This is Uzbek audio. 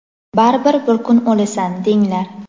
baribir bir kun o‘lasan, denglar.